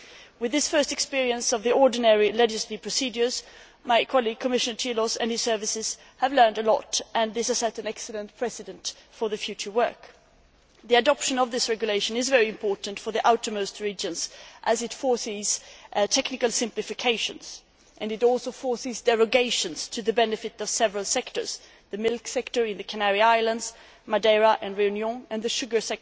With this first experience of the ordinary legislative procedure, my colleague, Commissioner Cioloş, and his services have learned a lot, and this has set an excellent precedent for future work. The adoption of this regulation is very important for the outermost regions as it imposes technical simplifications and it also imposes derogations to the benefit of several sectors the milk sector in the Canary Islands, Madeira and Réunion, the sugar